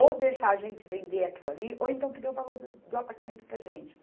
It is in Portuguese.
Ou deixar a gente vender aquilo ali, ou então que dê o valor do apartamento para a gente.